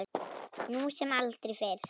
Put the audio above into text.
Nú sem aldrei fyrr.